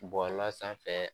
Bɔla sanfɛ